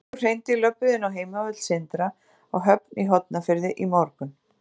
Nokkur hreindýr löbbuðu inn á heimavöll Sindra á Höfn í Hornafirði í morgun.